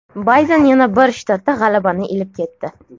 Bayden yana bir shtatda g‘alabani ilib ketdi.